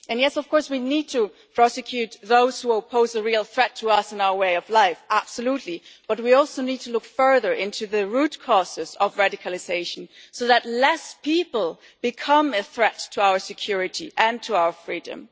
And yes, of course we need to prosecute those who pose a real threat to us and our way of life absolutely but we also need to look further into the root causes of radicalisation so that fewer people become a threat to our security and to our freedom.